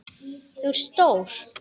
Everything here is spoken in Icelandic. Þú ert stór.